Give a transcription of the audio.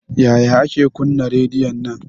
Yaya ake kuna rediyon nan?